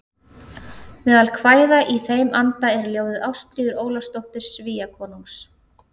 Meðal kvæða í þeim anda er ljóðið Ástríður Ólafsdóttir Svíakonungs